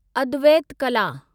अद्वैत कला